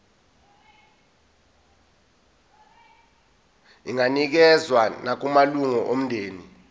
inganikezswa nakumalunga omndeni